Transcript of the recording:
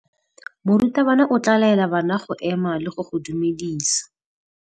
Morutabana o tla laela bana go ema le go go dumedisa.